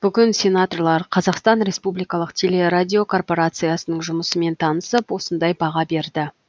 бүгін сенаторлар қазақстан республикалық телерадиокорпорациясының жұмысымен танысып осындай баға берді